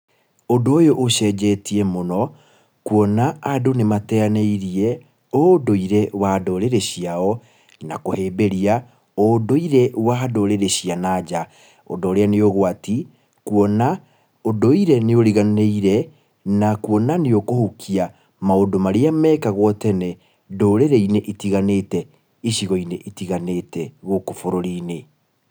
Ũndũ ũyũ ũcenjetie mũno, kuona andũ nĩ mateanĩirie, ũndũire wa ndũrĩrĩ ciao, na kũhĩmbĩria ũndũire wa ndũrĩrĩ cia na nja. Ũndũ ũrĩa nĩ ũgwati, kuona ũndũire nĩ ũriganĩire, na kuona nĩ ũkũhukia maũndũ marĩa mekagwo tene ndũrĩrĩ-inĩ itiganĩte icigo-inĩ itiganĩte gũkũ bũrũri-inĩ.